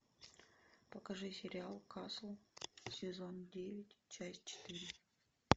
покажи сериал касл сезон девять часть четыре